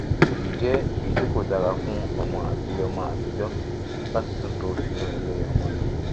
eyi jẹ eyiti ko dara fun ọmọ ati ọmọ atijọ lati tunto sinu ile omo'nu